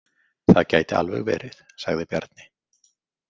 Það gæti alveg verið, sagði Bjarni.